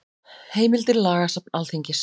Heimildir Lagasafn Alþingis.